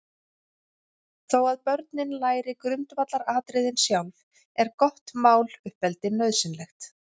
Þó að börnin læri grundvallaratriðin sjálf, er gott máluppeldi nauðsynlegt.